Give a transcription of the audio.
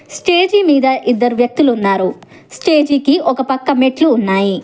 Stage మీద ఇద్దరు వ్యక్తులు ఉన్నారు స్టేజికి ఒక పక్క మెట్లు ఉన్నాయి.